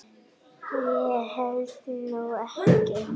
Ég held nú ekki!